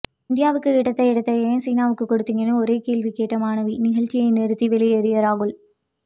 இந்தியாவுக்கு கிடைத்த இடத்தை ஏன் சீனாவுக்கு கொடுத்தீங்க ஒரே ஒரு கேள்வி கேட்ட மாணவி நிகழ்ச்சியை நிறுத்தி வெளியேறிய ராகுல்